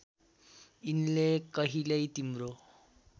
यिनले कहिल्यै तिम्रो